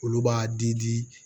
Olu b'a di di di